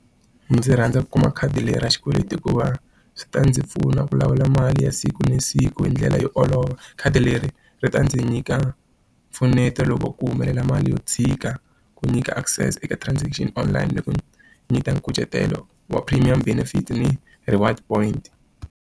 Ndzi rhandza ku kuma khadi leri ra xikweleti hikuva swi ta ndzi pfuna ku lawula mali ya siku na siku hi ndlela yo olova. Khadi leri ri ta ndzi nyika mpfuneto loko ku humelela mali yo dzhika, ku nyika access eka transaction online, ni ku nyika nkucetelo wa premium benefit ni reward point.